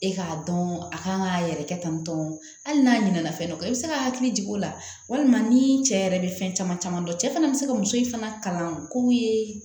E k'a dɔn a kan k'a yɛrɛkɛ tantɔ hali n'a ɲina na fɛn dɔ kan i bɛ se ka hakili jigin o la walima ni cɛ yɛrɛ bɛ fɛn caman caman dɔn cɛ fana bɛ se ka muso in fana kalan ko ye